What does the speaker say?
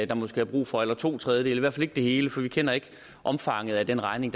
der måske er brug for eller to tredjedele i hvert fald ikke det hele for vi kender ikke omfanget af den regning